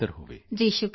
ਜੀ ਸ਼ੁਕਰੀਆ ਜੀ